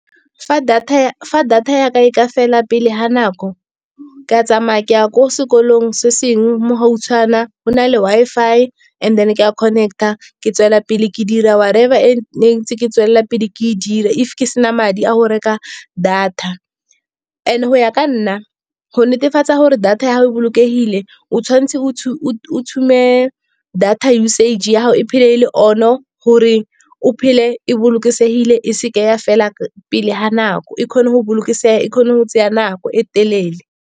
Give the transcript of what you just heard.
Fa data ya ka e ka fela pele ga nako ka tsamaya ke ya ko sekolong, se se ngwe mo gautshwana go na le Wi-Fi, and then ke a connect-a ke tswelela pele ke dira whatever e ne ntse ke tswelela pele ke e dira. If ke sena madi a go reka data, and go ya ka nna go netefatsa gore data ya gago e bolokegile, o tshwantse o o tshube data usage ya gago, e phele e le on-o. Gore o phele e bolokesegile e seke ya fela pele ga nako, e kgone go bolokesega e tsaye nako e telele.